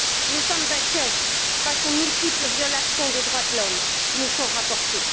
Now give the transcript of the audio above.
Nous sommes inquiets face aux multiples violations des droits de l'homme qui nous sont rapportées.